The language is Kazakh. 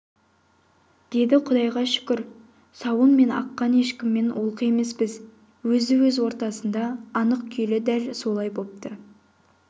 деді құдайға шүкір сауын мен аққа ешкімнен олқы емеспіз өзді-өз ортасында анық күйлі дәл солар бопты